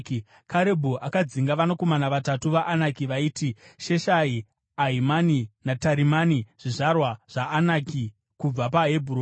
Karebhu akadzinga vanakomana vatatu vaAnaki vaiti Sheshai, Ahimani naTarimani zvizvarwa zvaAnaki kubva paHebhuroni.